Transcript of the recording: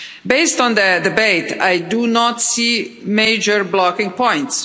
Based on the debate, I do not see major blocking points.